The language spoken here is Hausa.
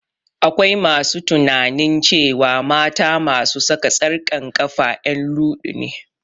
Akwai masu tunanin cewa mata masu saka tsarkan kafa en luɗu ne